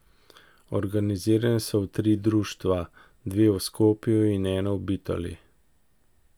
Organizirani so v tri društva, dve v Skopju in eno v Bitoli.